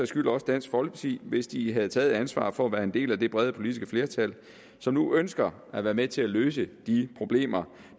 skyld også dansk folkeparti hvis de havde taget et ansvar for at være en del af det brede politiske flertal som nu ønsker at være med til at løse de problemer